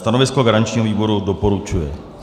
Stanovisko garančního výboru: doporučuje.